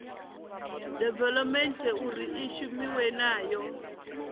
development uri i shumiwe nayo